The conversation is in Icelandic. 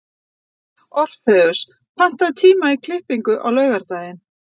Orfeus, pantaðu tíma í klippingu á laugardaginn.